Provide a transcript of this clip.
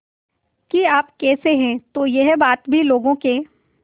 कि आप कैसे हैं तो यह बात भी लोगों के